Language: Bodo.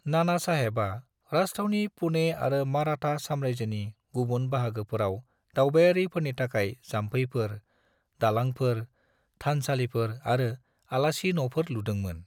नानासाहेबआ राजाथावनि पुणे आरो मराठा साम्रायजोनि गुबुन बाहागोफोराव दावबायारिफोरनि थाखाय जाम्फैफोर, दालांफोर, थानसालिफोर आरो आलासि नफोर लुदोंमोन।